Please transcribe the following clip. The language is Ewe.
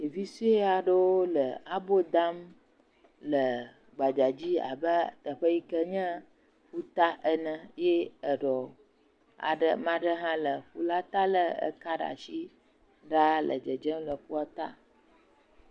Ɖevi sue aɖwo le abo dam le gbadzadzi abe teƒe yi ke nye ƒuta ene ye eɖɔ aɖe ame aɖe hã le ƒu la ta le eka ɖe asi ɖaa le dzedzem le ƒuata.